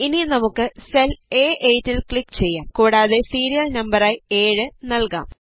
ഇനി നമുക്ക് സെൽ അ8 ൽ ക്ലിക് ചെയ്യാം കൂടാതെ സീരിയൽ നമ്പരായി 7 നല്കാം